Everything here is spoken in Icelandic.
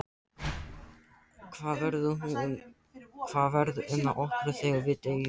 Axel: Hvað verður um okkur þegar við deyjum?